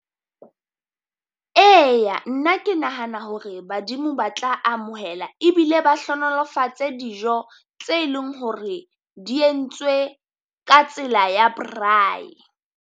Eya nna ke nahana hore badimo ba tla amohela, ebile ba hlonolofatse dijo tse leng hore di entswe ka tsela ya braai.